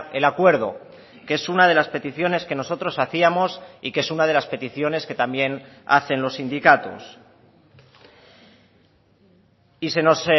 el acuerdo que es una de las peticiones que nosotros hacíamos y que es una de las peticiones que también hacen los sindicatos y se nos